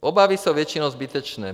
Obavy jsou většinou zbytečné.